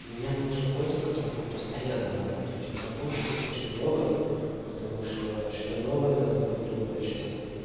мне нужен котер который будет постоянно работать работы будет очень много потому что что-то новое надо будет думать что-то